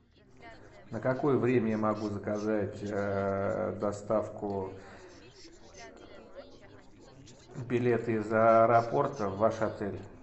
на какое время я могу заказать доставку билета из аэропорта в ваш отель